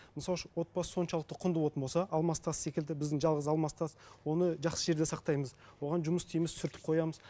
мысалы үшін отбасы соншалықты құнды болатын болса алмас тас секілді біздің жалғыз алмас тас оны жақсы жерде сақтаймыз оған жұмыс істейміз сүртіп қоямыз